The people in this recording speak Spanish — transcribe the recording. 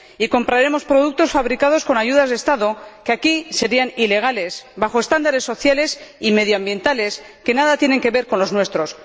Y compraremos productos fabricados con ayudas de Estado que aquí serían ilegales y bajo estándares sociales y medioambientales que nada tienen que ver con los nuestros.